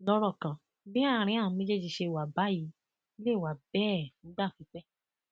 lọrọ kan bí àárín àwọn méjèèjì ṣe wà báyìí lè wà bẹẹ fúngbà pípẹ